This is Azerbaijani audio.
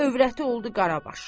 Övrəti oldu Qarabaş.